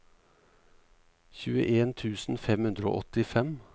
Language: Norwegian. tjueen tusen fem hundre og åttifem